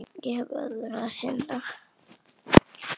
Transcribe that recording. Ég hef öðru að sinna.